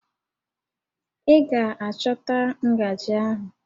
Ị ga-achọta ngajị ahụ!